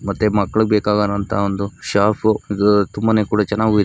ಮತ್ತೆ ಮಕ್ಕಳಿಗೆ ಬೇಕಾಗುವಂತಹ ಶಾಪ್ --